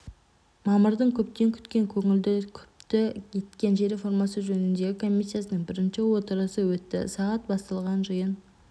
мамырдың көптен күткен көңілді күпті еткен жер реформасы жөніндегі комиссияның бірінші отырысы өтті сағат басталған жиын